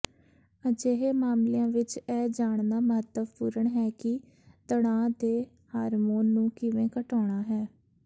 ਅਜਿਹੇ ਮਾਮਲਿਆਂ ਵਿੱਚ ਇਹ ਜਾਣਨਾ ਮਹੱਤਵਪੂਰਣ ਹੈ ਕਿ ਤਣਾਅ ਦੇ ਹਾਰਮੋਨ ਨੂੰ ਕਿਵੇਂ ਘਟਾਉਣਾ ਹੈ